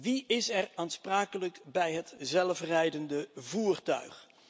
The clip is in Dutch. Wie is er aansprakelijk bij het zelfrijdende voertuig?